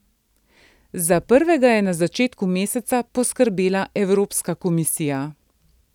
Za prvega je na začetku meseca poskrbela Evropska komisija.